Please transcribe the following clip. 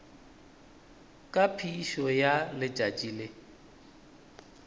ka phišo ya letšatši le